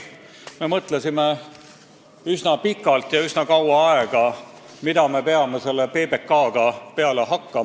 Me mõtlesime üsna kaua aega, mida me peame selle PBK-ga peale hakkama.